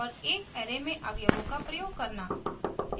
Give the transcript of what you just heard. और एक array में अवयवों का प्रयोग करना